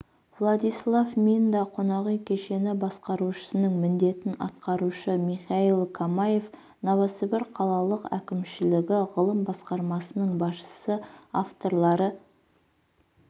владислав минда қонақүй кешені басқарушысының міндетін атқарушы михаил камаев новосібір қалалық әкімшілігі ғылым басқармасының басшысы авторлары